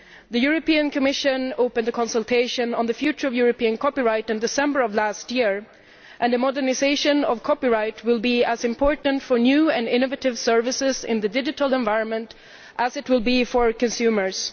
The Commission opened a consultation on the future of European copyright in December last year, and a modernisation of copyright will be as important for new and innovative services in the digital environment as it will be for consumers.